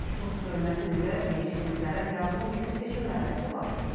Rus bölməsi üzrə birinci siniflərə qəbul üçün seçim mərhələsi başlayıb.